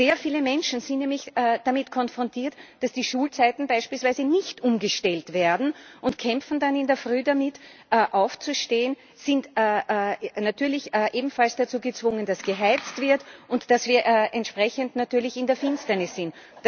Sehr viele Menschen sind nämlich damit konfrontiert, dass die Schulzeiten beispielsweise nicht umgestellt werden, und kämpfen dann in der Frühe damit, aufzustehen, sind natürlich ebenfalls dazu gezwungen, dass geheizt wird und dass wir entsprechend natürlich in der Finsternis sind.